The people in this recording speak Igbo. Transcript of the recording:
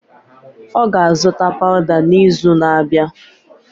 Ọ ga-azụta pawuda n'izu na-abịa.